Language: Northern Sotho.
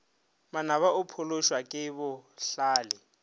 manaba o phološwa ke bohlale